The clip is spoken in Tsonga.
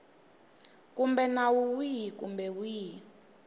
kumbe nawu wihi kumbe wihi